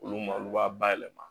Olu ma olu b'a bayɛlɛma